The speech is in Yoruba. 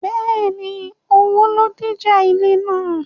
Bẹ́ẹ̀ni, owó ló díjà ilẹ̀ náà